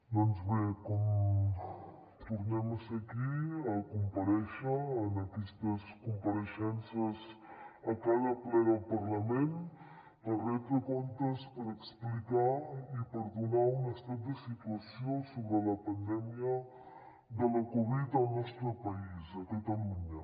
doncs bé tornem a ser aquí a comparèixer en aquestes compareixences a cada ple del parlament per retre comptes per explicar i per donar un estat de situació sobre la pandèmia de la covid al nostre país a catalunya